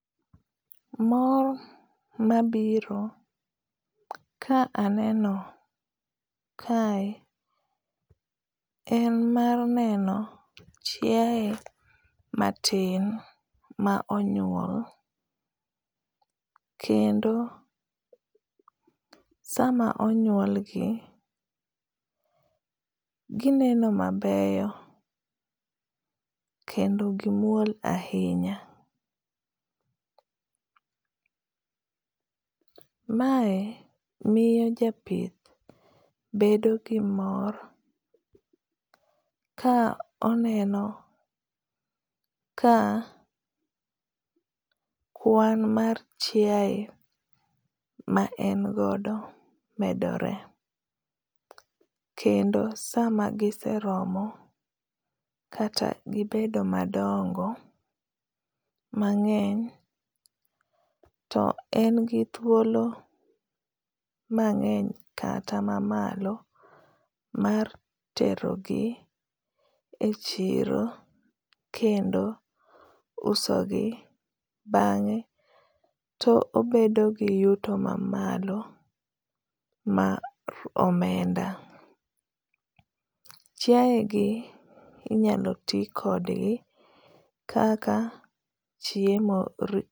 Mor mabiro ka aneno kae en mar neno chiae matin maonyuol kendo sama onyuolgi gineno mabeyo kendo gi muol ahinya. Mae miyo japith bedo gi mor ka oneno ka kuan mar chiae ma en godo medore, kendo sama giseromo kata gibedo madongo mang’eny to en gi thuolo mang’eny kata mamalo mar tero gi e chiro kendo usogi bang’e to obedo gi yuto ma malo mar omenda. Chiae gi inyalo ti kodgi kaka chiemo.